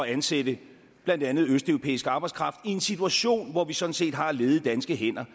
ansætte blandt andet østeuropæisk arbejdskraft i en situation hvor vi sådan set har ledige danske hænder